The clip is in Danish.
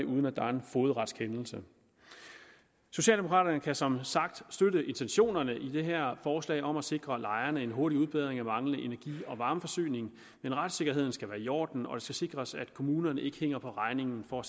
uden at der er en fogedretskendelse socialdemokraterne kan som sagt støtte intentionerne i det her forslag om at sikre lejerne en hurtig udbedring af manglende energi og varmeforsyning men retssikkerheden skal være i orden og det skal sikres at kommunerne ikke hænger på regningen for